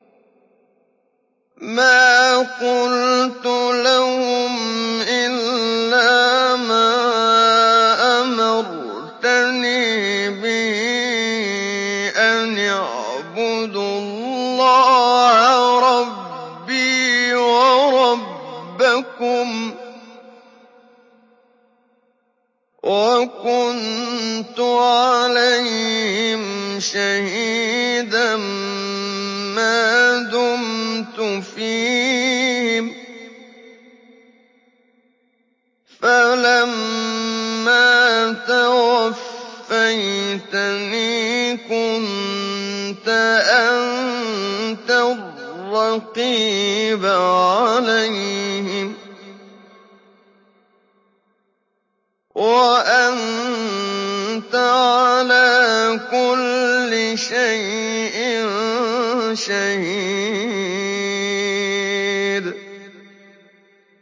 مَا قُلْتُ لَهُمْ إِلَّا مَا أَمَرْتَنِي بِهِ أَنِ اعْبُدُوا اللَّهَ رَبِّي وَرَبَّكُمْ ۚ وَكُنتُ عَلَيْهِمْ شَهِيدًا مَّا دُمْتُ فِيهِمْ ۖ فَلَمَّا تَوَفَّيْتَنِي كُنتَ أَنتَ الرَّقِيبَ عَلَيْهِمْ ۚ وَأَنتَ عَلَىٰ كُلِّ شَيْءٍ شَهِيدٌ